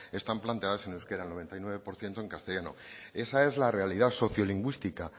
están planteadas en euskara el noventa y nueve por ciento en castellano esa es la realidad sociolingüística